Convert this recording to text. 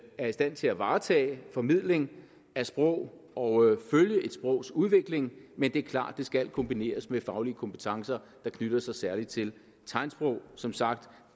er i stand til at varetage formidling af sprog og følge et sprogs udvikling men det er klart at det skal kombineres med faglige kompetencer der knytter sig særligt til tegnsprog som sagt